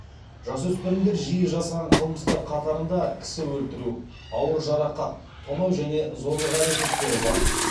жасөспірімдер жиі жасаған қылмыстар қатарында кісі өлтіру ауыр жарақат тонау және зорлық әрекеттері бар